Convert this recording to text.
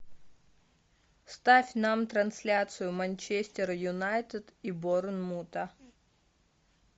ставь нам трансляцию манчестер юнайтед и борнмута